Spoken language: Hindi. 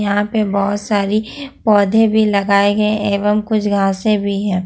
यहां पे बहुत सारी पौधे भी लगाए गए एवं कुछ घांसे भी है।